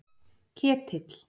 Ketill